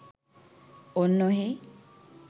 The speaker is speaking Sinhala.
ඔන්න ඔහේ